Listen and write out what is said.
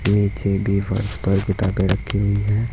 नीचे भी फर्श पर किताबें रखी हुई हैं।